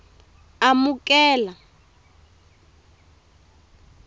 amukela